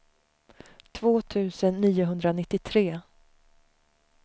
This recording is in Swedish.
två tusen niohundranittiotre